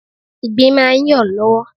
Ìgbín máa ń yọ̀ lọ́wọ́.